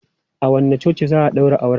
A wanne coci za a ɗaura auren?